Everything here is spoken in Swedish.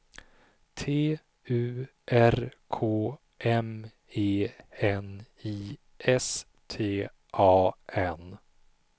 T U R K M E N I S T A N